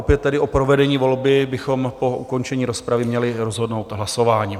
Opět tedy o provedení volby bychom po ukončení rozpravy měli rozhodnout hlasováním.